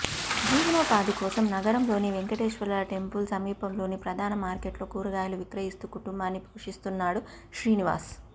జీవనోపాధి కోసం నగరంలోని వెంకటేశ్వర టెంపుల్ సమీపంలోని ప్రధాన మార్కెట్లో కూరగాయలు విక్రయిస్తూ కుటుంబాన్ని పోషిస్తున్నాడు శ్రీనివాస్